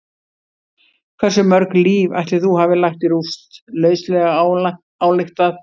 Hversu mörg líf ætli þú hafir lagt í rúst, lauslega ályktað?